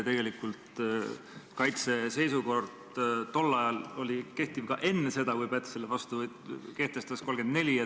Tegelikult kehtis kaitseseisukord tol ajal ka enne seda, kui Päts selle 1934. aastal kehtestas.